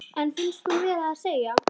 En finnst hún verða að segja: